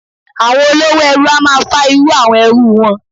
Àwọn olówò ẹrú a máa fá irú àwọn ẹrú wọn.